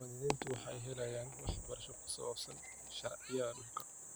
Muwaadiniintu waxay helayaan waxbarasho ku saabsan sharciyada dhulka.